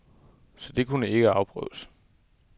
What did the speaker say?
Så det kunne ikke afprøves.